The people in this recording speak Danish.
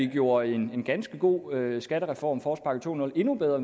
gjorde en ganske god skattereform forårspakke 20 endnu bedre